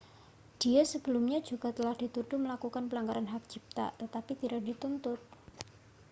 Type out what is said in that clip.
dia sebelumnya juga telah dituduh melakukan pelanggaran hak cipta tetapi tidak dituntut